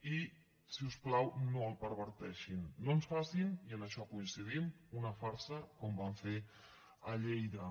i si us plau no el perverteixin no ens facin i en això coincidim una farsa com van fer a lleida